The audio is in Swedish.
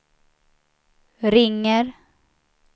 ringer